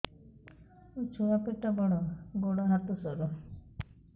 ମୋ ଛୁଆ ପେଟ ବଡ଼ ଗୋଡ଼ ହାତ ସରୁ